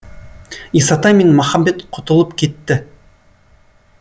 исатай мен махамбет құтылып кетті